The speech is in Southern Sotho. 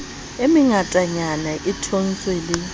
e mengatanyana e thontshe le